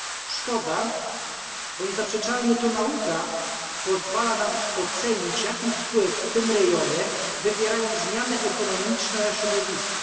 Szkoda, bo niezaprzeczalnie to nauka pozwala nam ocenić, jaki wpływ w tym rejonie wywierają zmiany ekonomiczne na środowisko.